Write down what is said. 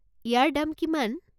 ইয়াৰ দাম কিমান?